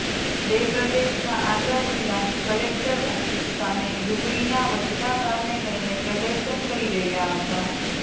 ર પ્રદેશના આગ્રા જિલ્લાની કલેકટર ઓફિસ સામે ડુંગળીના વધતા ભાવને લઈને પ્રદર્શન કરી રહ્યાં હતાં